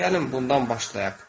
Gəlin bundan başlayaq.